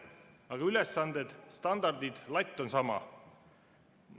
Aga ülesanded, standardid, latt on samad.